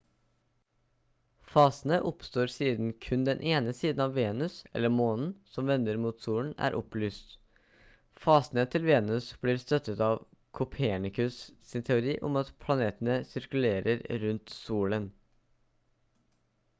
fasene oppstår siden kun den siden av venus eller månen som vender mot solen er opplyst. fasene til venus blir støttet av copernicus sin teori om at planetene sirkulerer rundt solen